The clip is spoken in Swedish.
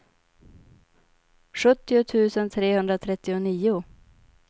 sjuttio tusen trehundratrettionio